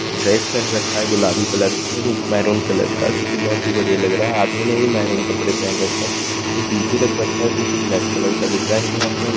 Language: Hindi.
गैस पर रखा गुलाबी कलर का मेहरुन कलर का जोकि बहोत ही बढियाँ लग रहा है आदमी ने भी मेहरुन कलर का कपड़े पहेन रखे है जोकि पीछे रखा है ब्लैक कलर का दिख रहा है।